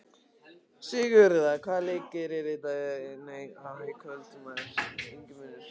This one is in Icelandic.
Sigurða, hvaða leikir eru í kvöld?